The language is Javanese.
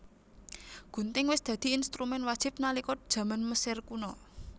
Gunting wis dadi instrumén wajib nalika jaman Mesir Kuna